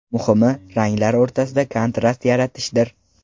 Muhimi, ranglar o‘rtasida kontrast yaratishdir.